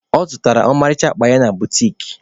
Ọ zụtara ọmarịcha akpa ya na butiki.